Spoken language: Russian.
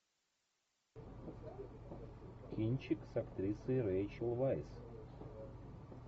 кинчик с актрисой рейчел вайс